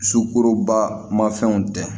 Sukoroba ma fɛnw tɛ